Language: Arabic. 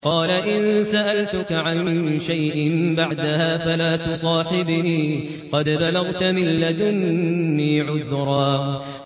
قَالَ إِن سَأَلْتُكَ عَن شَيْءٍ بَعْدَهَا فَلَا تُصَاحِبْنِي ۖ قَدْ بَلَغْتَ مِن لَّدُنِّي عُذْرًا